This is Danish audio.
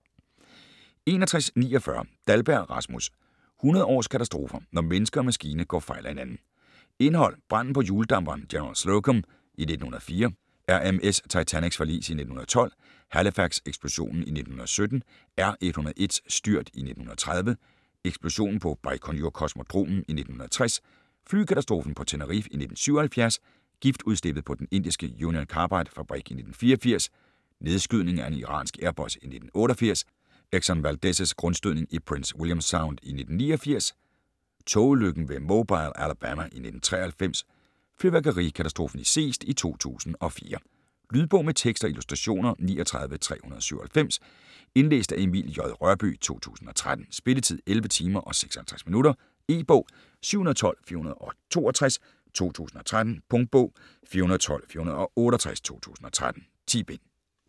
61.49 Dahlberg, Rasmus: 100 års katastrofer: når menneske og maskine går fejl af hinanden Indhold: Branden på hjuldamperen General Slocum i 1904, RMS Titanics forlis i 1912, Halifax-eksplosionen i 1917, R.101's styrt i 1930, Eksplosionen på Bajkonur-kosmodromen i 1960, Flykatastrofen på Tenerife i 1977, Giftudslippet på den indiske Union Carbide-fabrik i 1984,Nedskydningen af en iransk Airbus i 1988, Exxon Valdez' grundstødning i Prince William Sound i 1989, Togulykken ved Mobile, Alabama i 1993, Fyrværkerikatastrofen i Seest i 2004. Lydbog med tekst og illustrationer 39397 Indlæst af Emil J. Rørbye, 2013. Spilletid: 11 timer, 56 minutter. E-bog 712468 2013. Punktbog 412468 2013. 10 bind.